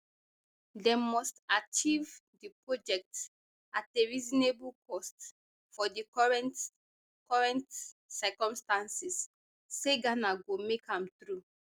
dem must achieve di project at a reasonable cost for di current current circumstances say ghana go make am through